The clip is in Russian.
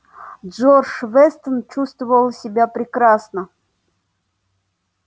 джордж вестон чувствовал себя прекрасно